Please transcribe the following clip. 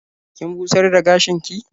Kin busar da gashinki?